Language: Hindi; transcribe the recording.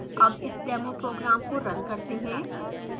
अब इस demo program को now करते हैं